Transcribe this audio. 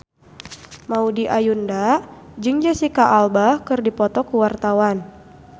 Maudy Ayunda jeung Jesicca Alba keur dipoto ku wartawan